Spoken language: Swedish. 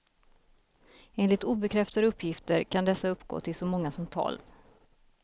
Enligt obekräftade uppgifter kan dessa uppgå till så många som tolv.